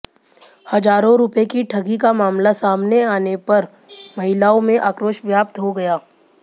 हजारों रुपये की ठगी का मामला सामने पर आने महिलाओं में आक्रोश व्याप्त हो गया